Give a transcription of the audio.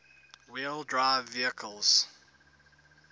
wheel drive vehicles